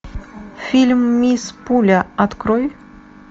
фильм мисс пуля открой